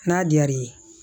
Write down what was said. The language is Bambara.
N'a diyar'i ye